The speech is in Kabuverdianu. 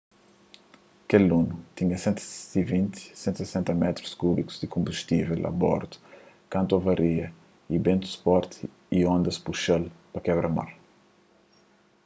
kel luno tinha 120--160 métrus kúbikus di konbustível a bordu kantu avaria y bentus forti y ondas puxa-l pa kebra-mar